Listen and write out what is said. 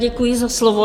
Děkuji za slovo.